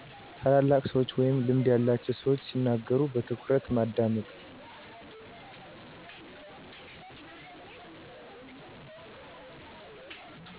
ታላላቅ ሰዎች ወይም ልምድ ያላቸው ሰዎች ሲናገሩ በትኩረት ማዳመጥ።